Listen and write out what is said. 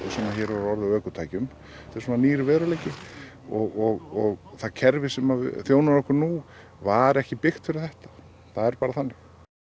sem hér hefur orðið á ökutækjum þetta er bara nýr veruleiki og það kerfi sem þjónar okkur nú var ekki byggt fyrir þetta það er bara þannig